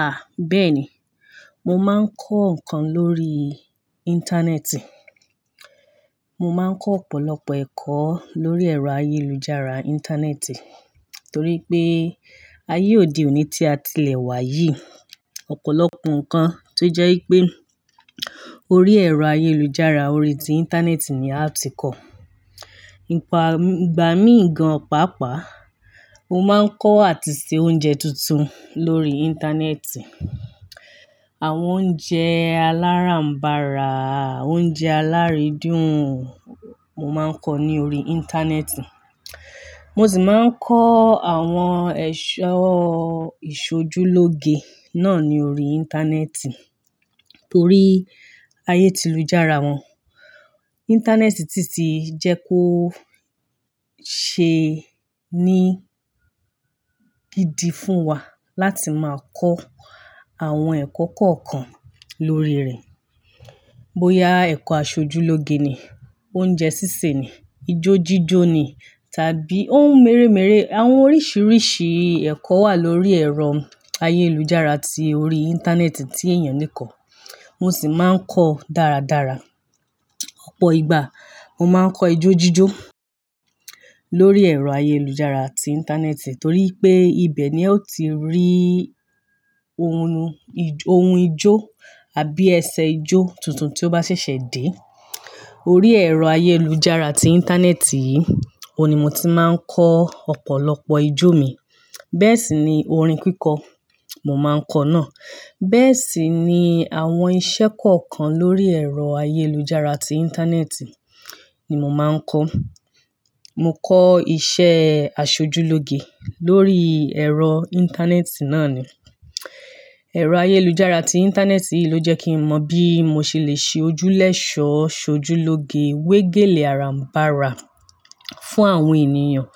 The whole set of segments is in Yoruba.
Ah bẹ́ẹ̀ni, mo máa ń kọ́ kan lórí Íńtánẹ́ẹ̀tì. Mo máa ń kọ́ ọ̀pọ̀lọpọ̀ ẹ̀kọ́ lórí ẹ̀rọ ayélujára Íńtánẹ́ẹ̀tì torí pé ayé òde òní tí a ti lè wá yìí, ọ̀pọ̀lọpọ̀ nǹkan tó jẹ́ pé orí ẹ̀rọ ayélujára, orí ti Íńtánẹ́ẹ̀tì ni a ti kọ̀. Ìpa- ìgbà mí gan pàápàá, mo máa ń kọ́ àti ṣe oúnjẹ tuntun lórí Íńtánẹ́ẹ̀tì. Àwọn oúnjẹ aláràǹbàrà, oúnjẹ alaridun, mo máa ń kọ́ ní orí Íńtánẹ́ẹ̀tì. Mo sì máa ń kọ́ àwọn ẹ̀ṣọ́ ìṣojúlóge náà ní orí Íńtánẹ́ẹ̀tì torí ayé tí ìlú jára wọn. Íńtánẹ́ẹ̀tì tìtì jẹ́ kó ṣe ní gidi fún wa láti máa kọ́ àwọn ẹ̀kọ́ kọ̀ọ̀kan lórí rẹ̀. Bo ya ẹ̀kọ́ aṣojúlóge ni, oúnjẹ sísè ni, ijójíjó ni tàbí ohun mèremère, àwọn oríṣìíríṣìí ẹ̀kọ́ wà lórí ẹ̀rọ ayélujára tí orí Íńtánẹ́ẹ̀tì tí èèyàn lè kọ̀. Mo sì máa ń kọ́ dáradára. Ọ̀pọ̀ ìgbà mo máa ń kọ́ ijójíjó lórí ẹ̀rọ ayélujára àti Íńtánẹ́ẹ̀tì torí pé ibẹ̀ ni a ti rí ohun- ohun ijó àbí ẹsẹ̀ ijó tuntun tí ó bá ṣẹ̀ṣẹ̀ dé. Orí ẹ̀rọ ayélujára àti Íńtánẹ́ẹ̀tì yìí, òun ni mo ti máa ń kọ́ ọ̀pọ̀lọpọ̀ ijó mi. Bẹ́ẹ̀ sì ni orin kíkọ, mo máa ń kọ́ náà. Bẹ́ẹ̀ sì ni àwọn iṣẹ́ kọ̀ọ̀kan lórí ẹ̀rọ ayélujára àti Íńtánẹ́ẹ̀tì ni mo máa ń kọ́. Mo kọ́ iṣẹ́ aṣojúlóge lórí ẹ̀rọ Íńtánẹ́ẹ̀tì náà ni. Ẹ̀rọ ayélujára ti Íńtánẹ́ẹ̀tì yìí ló jẹ́ kí mọ̀ bí mo ṣe lè ṣe ojúlẹ̀ṣọ́, ṣojúlóge, wégèlè aláràǹbàrà fún àwọn ènìyàn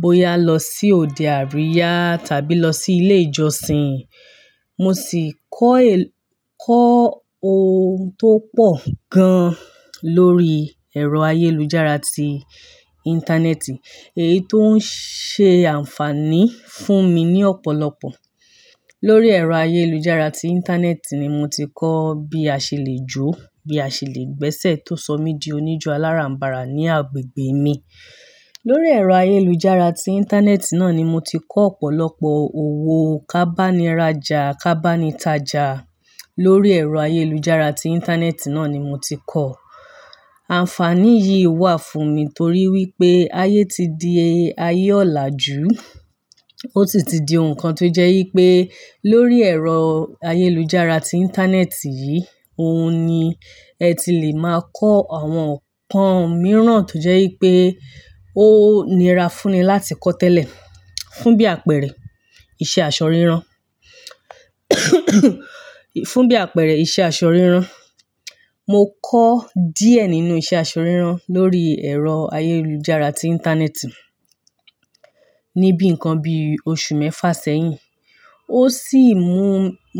bóyá lọ sí òde àríyá tàbí lọ sí ilé ìjọsìn. Mo sì kọ́ èl- kọ́ ohun tó pọ̀ gan lórí ẹ̀rọ ayélujára àti Íńtánẹ́ẹ̀tì, èyí tó ń ṣe ànfààní fún mi ní ọ̀pọ̀lọpọ̀. Lórí ẹ̀rọ ayélujára ti Íńtánẹ́ẹ̀tì ni mo ti kọ́ bí a ṣe lè jó, bí a ṣe lè gbẹ́sẹ̀ tó sọ mí di oníjó aláràǹbàrà ní agbègbè mi. Lórí ẹ̀rọ ayélujára ti Íńtánẹ́ẹ̀tì náà ni mo ti kọ́ ọ̀pọ̀lọpọ̀ òwò kábániraja, kábánitaja. Lórí ẹ̀rọ ayélujára àti Íńtánẹ́ẹ̀tì náà ni mo ti kọ́. Ànfààní yìí wà fún mi torí wípé ayé ti di ayé ọ̀làjú. Ó tìtí di nǹkan tó jẹ́ wípé lórí ẹ̀rọ ayélujára ti Íńtánẹ́ẹ̀tì yìí, òun ni ẹ ti lè máa kọ́ àwọn nǹkan mìíràn tó jẹ́ wípé ó nira fún ni láti kọ́ tẹ́lẹ̀. Fún bí àpẹẹrẹ, iṣẹ́ aṣọ rírán. Fún bí àpẹẹrẹ, iṣẹ́ aṣọ rírán. Mo kọ́ díẹ̀ nínú iṣẹ́ aṣọ rírán lórí ẹ̀rọ ayélujára àti Íńtánẹ́ẹ̀tì níbí nǹkan bí oṣù mẹ́fa sẹ́yìn. Ó sì mú,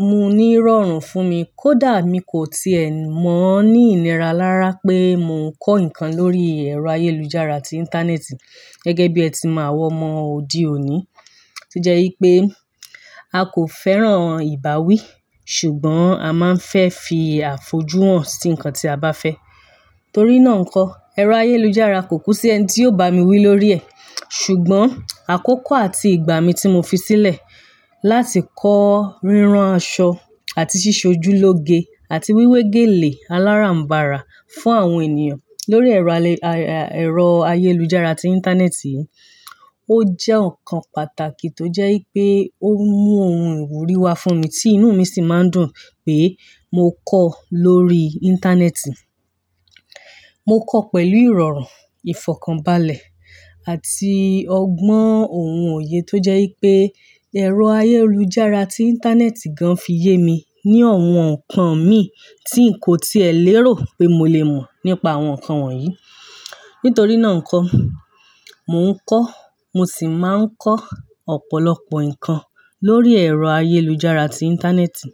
mú ní ìrọ̀rùn fún mi kó dà mí kò ti è mọ̀ ní ìlera lára pé mò ń kọ́ nǹkan lórí ẹ̀rọ ayélujára ti Íńtánẹ́ẹ̀tì gẹ́gẹ́ bí ẹ ti máa wọ̀ mọ́ òde òní tó jẹ́ wípé a kò fẹ́ràn ìbáwí ṣùgbọ́n a máa ń fẹ́ fi àfojú hàn sí nǹkan tí a bá fẹ́. Torí náà ńkọ́, ẹ̀rọ ayélujára kò kú sí ẹni tí yóò bá mi wí lórí ẹ̀. Ṣùgbọ́n àkókò àti ìgbà mi tí mo fi sílẹ̀ láti kọ́ rírán aṣọ àti ṣíṣojúlóge àti wíwé gèlè aláràǹbàrà fún àwọn ènìyàn lórí ẹ̀rọ alẹ- ẹ̀rọ ayélujára ti Íńtánẹ́ẹ̀tì, ó jẹ́ nǹkan pàtàkì tó jẹ́ wípé ó mú ohun ìwúrí wa fún mi tí inú mi sì máa ń dùn pé mò ń kọ́ lórí Íńtánẹ́ẹ̀tì. Mo kọ́ pẹ̀lú ìrọ̀rùn, ìfọ̀kànbalẹ̀ àti ọgbọ́n òhun òye tó jẹ́ wípé ẹ̀rọ ayélujára àti Íńtánẹ́ẹ̀tì gan fi yé mi ní àwọn nǹkan mi tí n kò ti ẹ̀ lérò pé mo lè mọ̀ nípa àwọn nǹkan wọ̀nyí. Nítorí náà ńkọ́, mò ń kọ́, mo sì máa ń kọ́ ọ̀pọ̀lọpọ̀ nǹkan lórí ẹ̀rọ ayélujára àti Íńtánẹ́ẹ̀tì.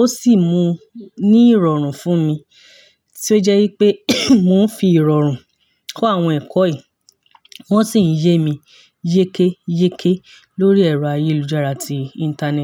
Ó sì mú ní ìrọ̀rùn fún mi tí ó jẹ́ wípé mò ń fi ìrọ̀rùn kọ́ àwọn ẹ̀kọ́ yìí wón sì ń yé mi yékéyéké lórí ẹ̀rọ ayélujára àti Íńtánẹ́ẹ̀tì.